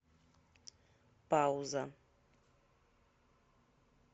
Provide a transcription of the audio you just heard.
пауза